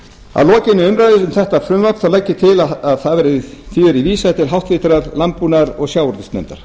að lokinni umræðu um þetta frumvarp legg ég til að því verði vísað til háttvirtrar landbúnaðar og sjávarútvegsnefndar